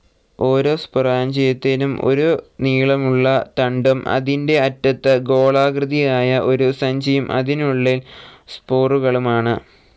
ഓരോ സ്പൊറാഞ്ചിയത്തിനും ഒരു നീളമുള്ള തണ്ടും അതിന്റെ അറ്റത്ത് ഗോളാകൃതിയായ ഒരു സഞ്ചിയും അതിനുള്ളിൽ സ്പോറുകളുമുണ്ട്.